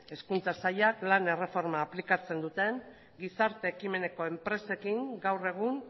hezkuntza sailak lan erreforma aplikatzen duten gizarte ekimeneko enpresekin gaur egun